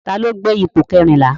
Ta ló gbé ipò kẹrìnlá?